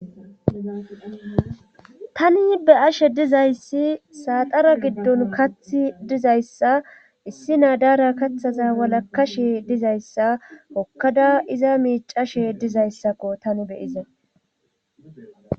tani be ashe dizayssi saaxara giddon kathi dizayssa issi naadaara kaththaza walakashe dizayssa kokkada iza miicashe dizayssakko tani beyiza